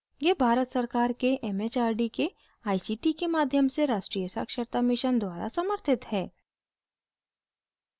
यह भारत सरकार के it it आर डी के आई सी टी के माध्यम से राष्ट्रीय साक्षरता mission द्वारा समर्थित है